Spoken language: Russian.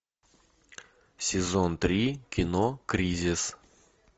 сезон три кино кризис